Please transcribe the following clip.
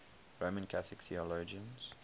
roman catholic theologians